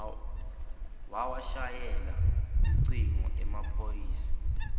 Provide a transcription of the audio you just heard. wawashayela lucingo emaphoyisa